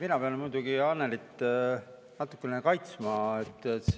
Mina pean muidugi Annelyt natuke kaitsma.